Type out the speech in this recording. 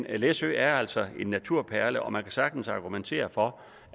er at læsø altså er en naturperle og man kan sagtens argumentere for